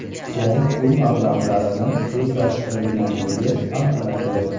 so‘m pul mablag‘larini o‘zlashtirganligi aniqlangan.